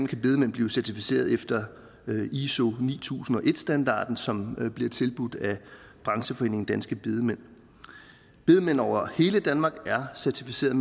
kan bedemænd blive certificeret efter iso ni tusind og en standarden som bliver tilbudt af brancheforeningen danske bedemænd bedemænd over hele danmark er certificeret